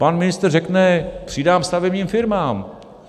Pan ministr řekne: přidám stavebním firmám.